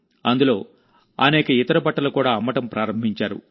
అందులోఅనేక ఇతర బట్టలు కూడా అమ్మడం ప్రారంభించారు